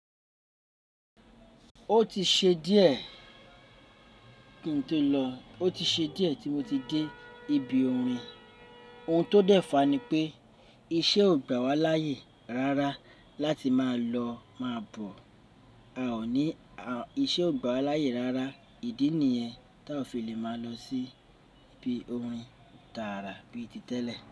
Ó ti ṣe díẹ̀ kí n tó lọ, ó ti ṣe díẹ̀ tí mo ti dé ibi orin. Ohun tó dẹ́fa ni pé ìṣe ò gbà wá láàyè rárá láti máa lọ máa bọ̀. A ò ní, ìṣe ò gbà wá láayè rárá. Ìdí ni yentá o fi lè máa lọ sí ibi orin tàrà bí i ti tẹ́lẹ̀.